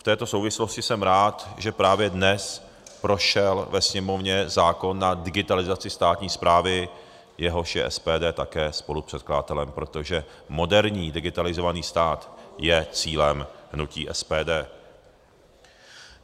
V této souvislosti jsem rád, že právě dnes prošel ve Sněmovně zákon na digitalizaci státní správy, jehož je SPD také spolupředkladatelem, protože moderní digitalizovaný stát je cílem hnutí SPD.